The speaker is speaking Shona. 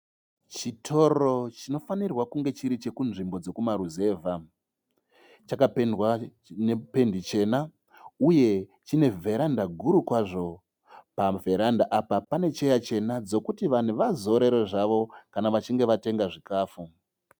Chitoro chino fanirwa chiri cheku nzvimbo dzekuma ruzeva. Chapendwa nependi chena uye chine vheranda guru kwazvo. Pavheranda apa pane cheya chena dzekuti vazorore zvavo kana vachinge vatenga chikafu.